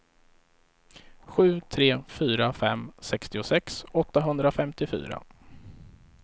sju tre fyra fem sextiosex åttahundrafemtiofyra